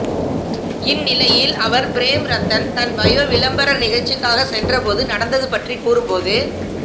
இந்நிலையில் அவர் பிரேம் ரத்தன் தன் பாயோ விளம்பர நிகழ்ச்சிக்காக சென்றபோது நடந்தது பற்றி கூறும்போது